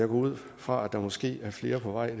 ud fra at der måske er flere på vej